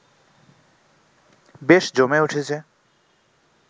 বেশ জমে উঠেছে